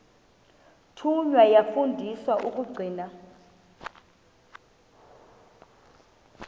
thunywa yafundiswa ukugcina